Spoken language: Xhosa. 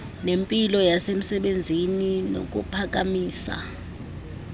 nempilo yasemsebenzini kukuphakamisa